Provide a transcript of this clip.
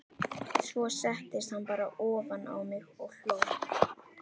Svo settist hann bara ofan á mig og hló.